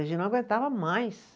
A gente não aguentava mais.